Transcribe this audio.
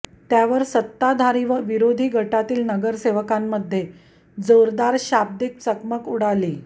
त्यावर सत्ताधारी व विरोधी गटातील नगरसेवकांमध्ये जोरदार शाब्दीक चकमक उडाली